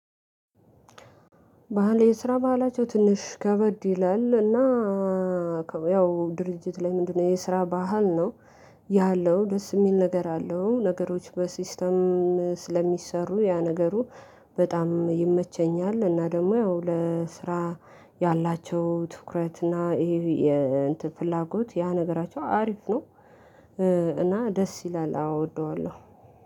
ባህል የስራ ባህላቸው ትንሽ ከበድ ይላል። እና ያው ድርጅት ላይ ምንድነው የስራ ባህል ነው? ያለው ደስ የሚል ነገር አለው። ነገሮች በሲስተም ስለሚሰሩ ያ ነገሩ በጣም ይመቸኛል። እና ደግሞ ያው ለስራ ያላቸው ትኩረት እና ይሄ የፍላጎት ያ ነገራቸው አሪፍ ነው። እና ደስ ይላል አወ እወደዋለሁ።